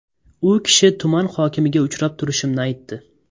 U kishi tuman hokimiga uchrab turishimni aytdi.